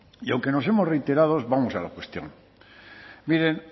y aunque nos hemos reiterado vamos a la cuestión miren